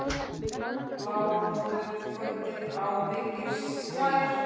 Blámóðu kvöldið á byggðir slær.